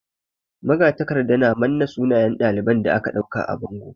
Magatakarda ya manna sunayen ɗalibai da aka ɗauka a bango.